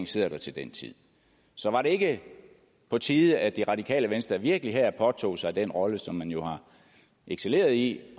sidder der til den tid så var det ikke på tide at det radikale venstre virkelig her påtog sig den rolle som man jo har excelleret i